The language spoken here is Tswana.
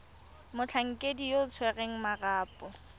motlhankedi yo o tshwereng marapo